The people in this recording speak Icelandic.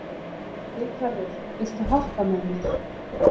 Ríkharður, viltu hoppa með mér?